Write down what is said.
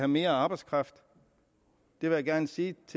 mere arbejdskraft vil jeg gerne sige